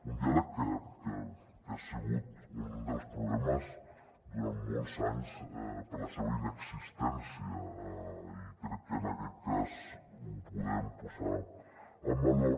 un diàleg que ha sigut un dels problemes durant molts anys per la seva inexistència i crec que en aquest cas ho podem posar en valor